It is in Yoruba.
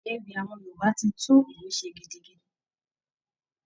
Ewì awọn Yorùbá ti tún ìlú ṣe gidigidi.